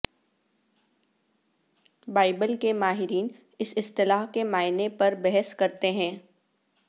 Bible کے ماہرین اس اصطلاح کے معنی پر بحث کرتے ہیں